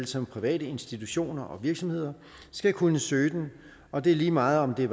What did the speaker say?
som private institutioner og virksomheder skal kunne søge den og det er lige meget om det